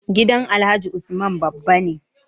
Gidan alhaji usman babba ne